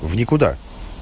в никуда